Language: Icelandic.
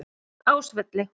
Ásvelli